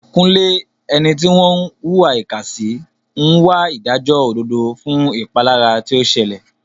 Kunle, ẹni tí wọ́n ń hùwà ìkà sí, ń wá ìdájọ́ òdodo fún ìpalára tí ó ṣẹlẹ̀.